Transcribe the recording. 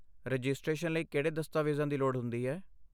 Registration ਲਈ ਕਿਹੜੇ ਦਸਤਾਵੇਜ਼ਾਂ ਦੀ ਲੋੜ ਹੁੰਦੀ ਹੈ?